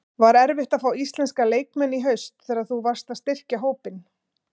Var erfitt að fá íslenska leikmenn í haust þegar þú varst að styrkja hópinn?